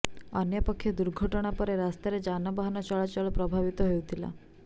ଅନ୍ୟପକ୍ଷେ ଦୁର୍ଘଟଣା ପରେ ରାସ୍ତାରେ ଯାନବାହନ ଚଳାଚଳ ପ୍ରଭାବିତ ହୋଇଥିଲା